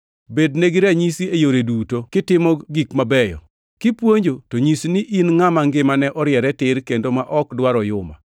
Bednegi ranyisi e yore duto kitimo gik mabeyo. Kipuonjo to nyis ni in ngʼama ngimane oriere tir kendo ma ok dwar oyuma,